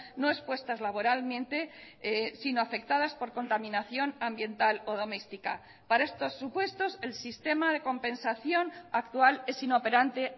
no expuestas laboralmente sino afectadas por contaminación ambiental o doméstica para estos supuestos el sistema de compensación actual es inoperante